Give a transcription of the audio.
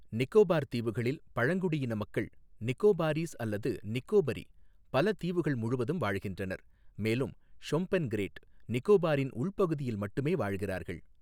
நிக்கோபார் தீவுகளில், பழங்குடியின மக்கள் நிக்கோபாரீஸ், அல்லது நிக்கோபரி, பல தீவுகள் முழுவதும் வாழ்கின்றனர், மேலும் ஷொம்பென் கிரேட் நிக்கோபாரின் உள்பகுதியில் மட்டுமே வாழ்கிறார்கள்.